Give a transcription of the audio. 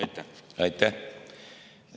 Aitäh!